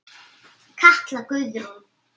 Katla Guðrún.